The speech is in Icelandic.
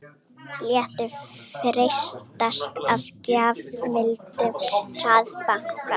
Létu freistast af gjafmildum hraðbanka